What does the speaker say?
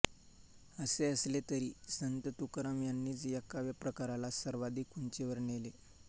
असे असले तरी संत तुकाराम यांनीच या काव्यप्रकाराला सर्वाधिक उंचीवर नेले